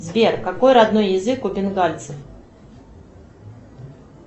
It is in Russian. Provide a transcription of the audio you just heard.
сбер какой родной язык у бенгальцев